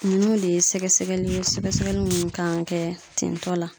ninnu de ye sɛgɛsɛgɛli ye sɛgɛsɛgɛli minnu kan ŋa kɛ tintɔ la.